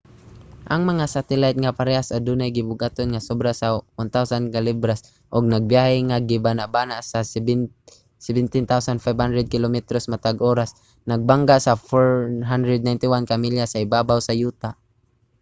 ang mga satelayt nga parehas adunay gibug-aton nga sobra sa 1,000 ka libras ug nagbiyahe nga gibanabana sa 17,500 kilometros matag oras nagbangga sa 491 ka milya sa ibabaw sa yuta